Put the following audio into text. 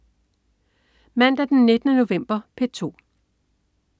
Mandag den 19. november - P2: